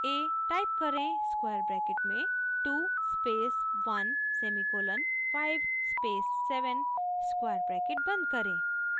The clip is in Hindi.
टाइप करें स्क्वायर ब्रैकेट में 2 space 1 semicolon 5 space 7 square bracket बंद करें